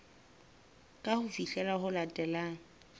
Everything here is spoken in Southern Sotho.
ke ho fihlela ho latelang